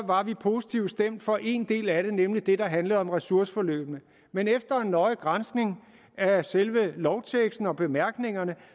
var vi positivt stemt for en del af det nemlig det der handlede om ressourceforløbene men efter en nøje granskning af selve lovteksten og bemærkningerne